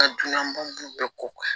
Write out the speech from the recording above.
Ka dunan bɔ bɛɛ ko